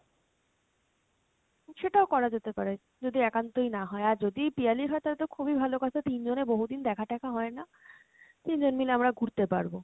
সেটাও করা যেতে পারে যদি একান্তই না হয়, আর যদি পিয়ালির হয় তাহলে তো খুবই ভালো কথা তিন জনে বহুদিন দেখা টেকা হয় না, তিনজন মিলে আমরা ঘুড়তে পারবো।